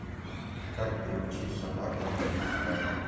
как приучить собаку ходить рядом